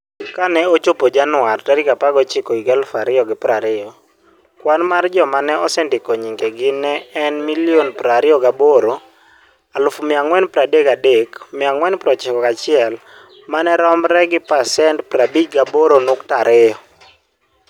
Ka nochopo Januar 19, 2020, kwan mar joma ne osendiko nyingegi ne en 28,433,491 ma romre gi pasent 58.2.